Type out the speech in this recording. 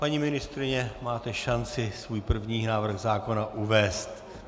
Paní ministryně, máte šanci svůj první návrh zákona uvést.